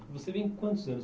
Você vem quantos anos